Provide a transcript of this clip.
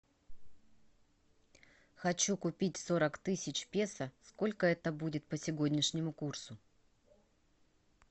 хочу купить сорок тысяч песо сколько это будет по сегодняшнему курсу